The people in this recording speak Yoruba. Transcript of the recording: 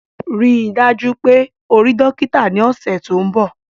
Rii daju pe o rii dokita ni ọsẹ to nbọ!